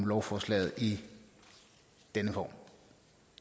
lovforslaget i denne form